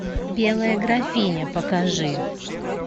белая графиня покажи